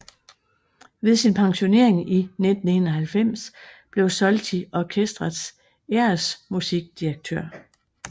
Ved sin pensionering i 1991 blev Solti orkestrets æresmusikdirektør